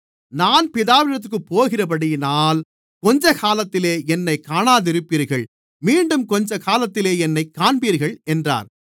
நான் பிதாவினிடத்திற்குப் போகிறபடியினால் கொஞ்சக்காலத்திலே என்னைக் காணாதிருப்பீர்கள் மீண்டும் கொஞ்சக்காலத்திலே என்னைக் காண்பீர்கள் என்றார்